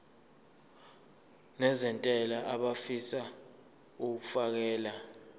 nezentela abafisa uukfakela